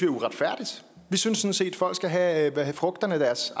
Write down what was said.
uretfærdigt vi synes synes at folk skal have frugterne af deres